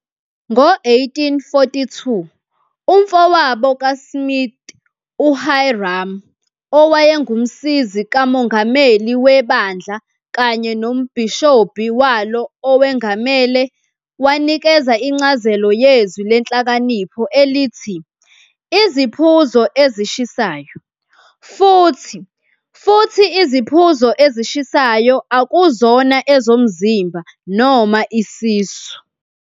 Ngo-1842, umfowabo kaSmith uHyrum, owayenguMsizi kaMongameli weBandla kanye nombhishobhi walo owengamele, wanikeza incazelo yezwi leNhlakanipho elithi "iziphuzo ezishisayo" - Futhi futhi "iziphuzo ezishisayo akuzona ezomzimba, noma isisu".